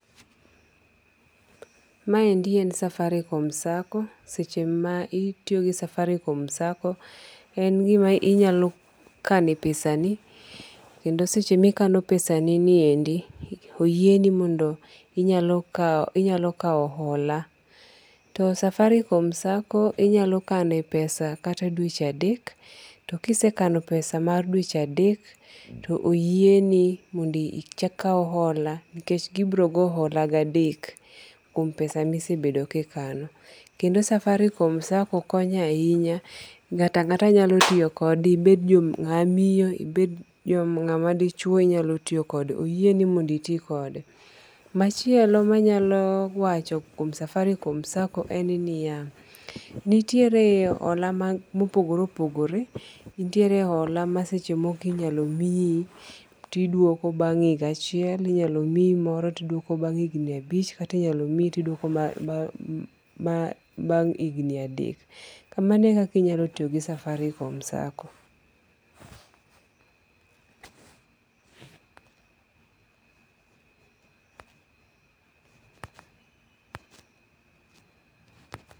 Maendi en Safaricom Sacco seche ma itiyo gi Safaricom sacco, en gima inyalo kano epesani kendo sama ikano pesani ni niendi oyieni mondo inyalo kawo hola to Safaricom sacco inyalo kanie pesa kata dweche adek to ikesekano pesa mar dweche adek to oyieni mondo ikawo hola to gibogoni gi edek to oyieni mondo ikaw hola nikech gibogo hola gadek kuom pesa ma isebedo kinano. Kendo Safaricom sacco konyo nahinya nga'to anga'ta nyalo tiyo kode ibed nga'ma miyo ibed nga'ma dichuo nyalo tiyo kode. Oyieni mondo itikode machielo manyalo wacho kuom Safaricom sacco en niya nitiere hola ma opogore opogore nitiere hola moko ma seche moko inyalo miyi moro idwoko bang' higa achiel inyalo miyi moro ti idwoko bang’ mahigni abich kata inyalo miyi moro to dwoko bang' higni adek, kamano eka inyalo tiyo gi Safaricom sacco